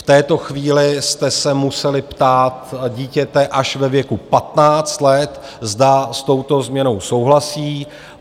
V této chvíli jste se museli ptát dítěte až ve věku 15 let, zda s touto změnou souhlasí.